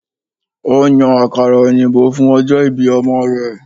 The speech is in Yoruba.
Ó ń yan àkàrà òyìnbó fún ọjọ́ ìbí ọmọ rẹ̀